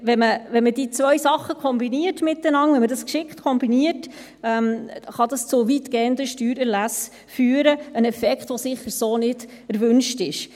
Wenn man diese zwei Sachen miteinander kombiniert, wenn man sie geschickt kombiniert, kann dies zu weitgehenden Steuererlassen führen – ein Effekt, der sicher so nicht erwünscht ist.